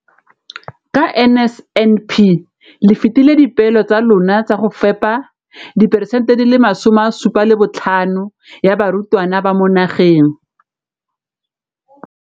Ka NSNP le fetile dipeelo tsa lona tsa go fepa masome a supa le botlhano a diperesente ya barutwana ba mo nageng.